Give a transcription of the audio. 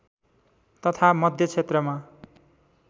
तथा मध्य क्षेत्रमा